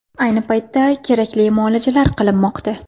Ayni paytda kerakli muolajalar qilinmoqda.